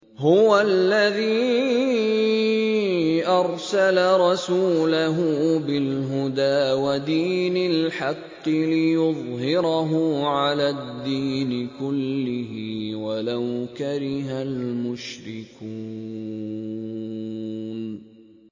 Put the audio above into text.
هُوَ الَّذِي أَرْسَلَ رَسُولَهُ بِالْهُدَىٰ وَدِينِ الْحَقِّ لِيُظْهِرَهُ عَلَى الدِّينِ كُلِّهِ وَلَوْ كَرِهَ الْمُشْرِكُونَ